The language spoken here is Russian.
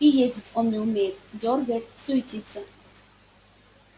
и ездить он не умеет дёргает суетится